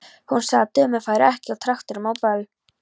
Hún sagði að dömur færu ekki á traktorum á böll.